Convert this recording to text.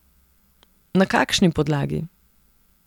Na kakšni podlagi?